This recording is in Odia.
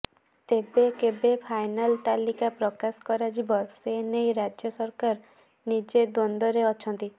ତେବେ କେବେ ଫାଇନାଲ ତାଲିକା ପ୍ରକାଶ କରାଯିବ ସେ ନେଇ ରାଜ୍ୟ ସରକାର ନିଜେ ଦ୍ୱନ୍ଦରେ ଅଛନ୍ତି